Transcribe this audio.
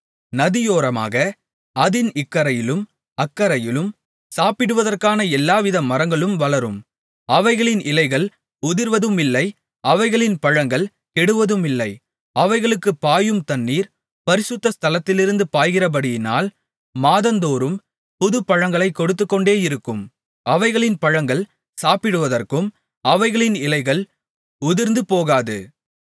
நதியோரமாக அதின் இக்கரையிலும் அக்கரையிலும் சாப்பிடுவதற்கான எல்லாவித மரங்களும் வளரும் அவைகளின் இலைகள் உதிர்வதுமில்லை அவைகளின் பழங்கள் கெடுவதுமில்லை அவைகளுக்குப் பாயும் தண்ணீர் பரிசுத்த ஸ்தலத்திலிருந்து பாய்கிறபடியினால் மாதந்தோறும் புதுபழங்களைக் கொடுத்துக்கொண்டேயிருக்கும் அவைகளின் பழங்கள் சாப்பிடுவதற்கும் அவைகளின் இலைகள் உதிர்ந்து போகாது